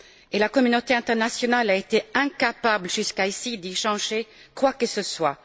Et la communauté internationale a été incapable jusqu'ici d'y changer quoi que ce soit.